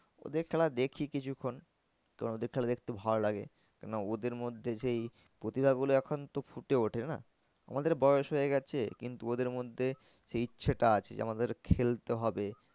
ওদের খেলা দেখি কিছুক্ষন তো ওদের খেলা দেখতে ভালো লাগে কেন না ওদের মধ্যে সেই প্রতিভা গুলো এখন তো ফুটে ওঠে না আমাদের বয়স হয়ে গেছে কিন্তু ওদের মধ্যে সেই ইচ্ছাটা আছে যে আমাদের খেলতে হবে।